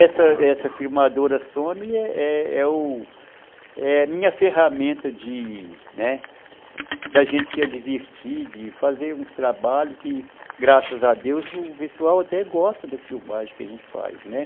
Essa essa filmadora Sony é é o a minha ferramenta de, né, da gente se divertir, de fazer uns trabalhos que, graças a Deus, o pessoal até gosta das filmagens que a gente faz.